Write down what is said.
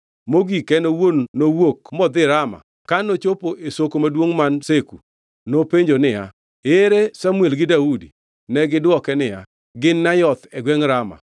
Mogik en owuon nowuok modhi Rama ka nochopo e Soko maduongʼ man Seku. Nopenjo niya, “Ere Samuel gi Daudi?” Negidwoke niya, “Gin Nayoth e gwengʼ Rama.”